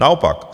Naopak.